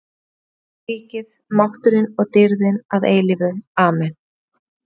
. því að þitt er ríkið, mátturinn og dýrðin að eilífu- Amen.